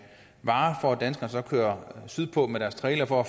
varer for at danskerne så kører sydpå med deres trailer for at